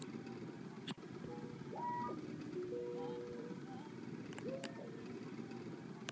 Nú þarftu að læra á mannlífið.